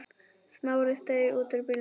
Smári steig út úr bílnum.